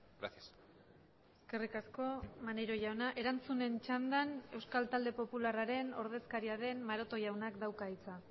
gracias eskerrik asko maneiro jauna erantzunen txandan euskal talde popularraren ordezkaria den maroto jaunak dauka hitza